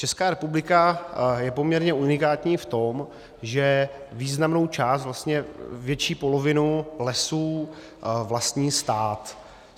Česká republika je poměrně unikátní v tom, že významnou část, vlastně větší polovinu lesů vlastní stát.